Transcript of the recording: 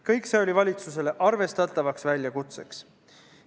Kõik see oli valitsusele arvestatavaks väljakutseks.